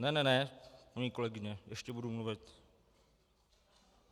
Ne ne ne, paní kolegyně, ještě budu mluvit.